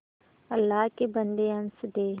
अल्लाह के बन्दे हंस दे